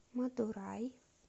мадурай